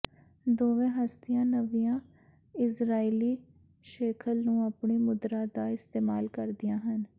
ਦੋਵੇਂ ਹਸਤੀਆਂ ਨਵੀਆਂ ਇਜ਼ਰਾਈਲੀ ਸ਼ੇਖਲ ਨੂੰ ਆਪਣੀ ਮੁਦਰਾ ਦਾ ਇਸਤੇਮਾਲ ਕਰਦੀਆਂ ਹਨ